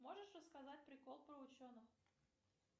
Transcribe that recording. можешь рассказать прикол про ученых